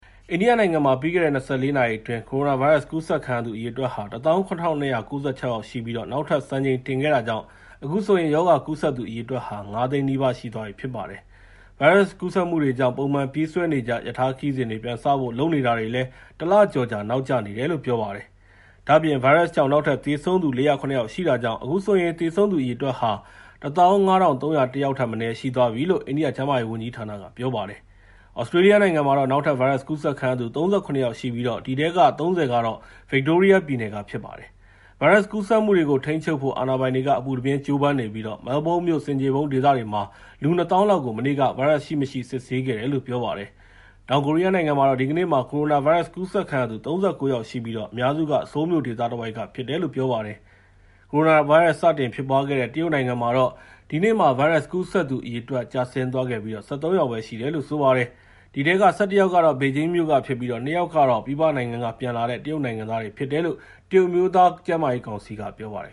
အိန္ဒိယနိုင်ငံမှာ ပြီးခဲ့တဲ့ ၂၄ နာရီအတွင်း ကိုရိုနာဗိုင်းရပ်စ်ကူးစက်ခံရသူ အရေအတွက်ဟာ ၁၇,၂၉၆ ရှိပြီး နောက်ထပ်စံချိန်တင်ခဲ့တာကြောင့် အခုဆိုရင် ရောဂါကူးစက်သူအရေအတွက်ဟာ ၅၀၀,၀၀၀ နီးပါးရှိသွားပြီဖြစ်ပါတယ်။ ဗိုင်းရပ်စ်ကူးစက်မှုတွေကြောင့် ပုံမှန်ပြေးဆွဲနေကြ ရထားခရီးစဉ်တွေ ပြန်စဖို့လုပ်နေတာတွေလည်း ၁ လကျော်ကြာ နောက်ကျနေတယ်လို့ ပြောပါတယ်။ ဒါ့အပြင် ဗိုင်းရပ်စ်ကြောင့် နောက်ထပ် သေဆုံးသူ ၄၀၇ ယောက်ရှိ တာကြောင့်အခုဆိုရင် သေဆုံးသူအရေအတွက်ဟာ ၁၅,၃၀၁ ယောက်ထက်မနည်း ရှိသွားပြီလို့လည်း အိန္ဒိယကျန်းမာရေးဝန်ကြီးဌာနက ပြောပါတယ်။ သြစတြေးလျနိုင်ငံမှာတော့နောက်ထပ် ဗိုင်းရပ်ကူးစက်ခံရသူ ၃၇ ယောက်ရှိပြီး အဲဒီထဲက ၃၀ က ဗစ်တိုးရီးယားပြည်နယ်က ဖြစ်ပါတယ်။ ဗိုင်းရပ်စ်ကူးစက်မှုတွေကို ထိန်းချုပ်နိုင်ဖို့ အာဏာပိုင်တွေက အပူတပြင်းကြိုးပမ်းနေပြီး Melbourne မြို့ ဆင်ခြေဖုံးဒေသတွေမှာ လူ ၂၀,၀၀၀ လောက်ကို မနေ့က ဗိုင်းရပ်စ်စစ်ဆေးခဲ့တယ်လို့ ပြောပါတယ်။ တောင်ကိုရီးယားနိုင်ငံမှာတော့ ဒီကနေ့မှာ ကိုရိုနာဗိုင်းရပ်စ်ကူးစက်ခံရသူ ၃၉ ယောက်ရှိပြီး အများစုက ဆိုးလ်မြို့ဒေသတဝိုက်ကဖြစ်တယ်လို အာဏာပိုင်တွေက ပြောပါတယ်။ ကိုရိုနာဗိုင်းရပ်စ် စတင်ဖြစ်ပွားခဲ့တဲ့ တရုတ်နိုင်ငံမှာတော့ ဒီနေ့မှာ ဗိုင်းရပ်စ်ကူးစက်သူအရေအတွက် ကျဆင်းသွားပြီး ၁၃ ယောက်ပဲ ရှိတယ်လို့ ပြောပါတယ်။ အဲဒီထဲက ၁၁ ယောက်ကတော့ ဘေဂျင်းမြို့က ဖြစ်ပြီး ၂ ယောက်ကတော့ ပြည်ပနိုင်ငံက ပြန်လာတဲ့ တရုတ်နိုင်ငံသားဖြစ်တယ်လို့ တရုတ်အမျိုးသားကျန်းမာရေးကောင်စီက ပြောပါတယ်